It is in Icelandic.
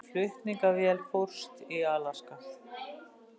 Flutningaflugvél fórst í Alaska